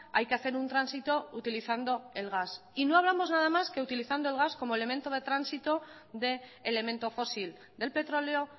hay que hacer un tránsito utilizando el gas y no hablamos de nada más que utilizando el gas como elemento de tránsito de elemento fósil del petróleo